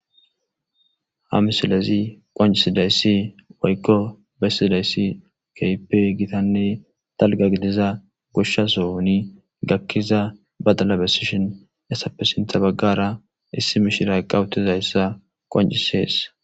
ha misilezi qancisidayssi woykko bessidayssi keehippe gitanne dalga gidiza goshsha soni gakkiza badala besishin essappe sintha baggara issi mishira eqa utizayssa qoncisees